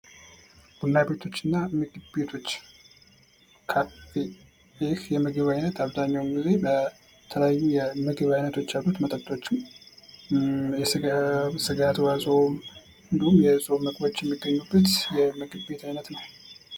ቡና ቤቶች እና ምግብ ቤቶች ካፌ ይህ የምግብ ዓይነት አብዛኛውን ጊዜ የተለያዩ የምግብ ዓይነት አሉት። መጠጦችም የስጋ ተዋጾም እንዲሁም የጾም ምግቦችም የሚገኙበት ምግብ ቤት አይነት ነው።